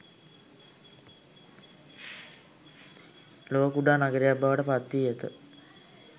ලොව කුඩා නගරයක් බවට පත්වී ඇත.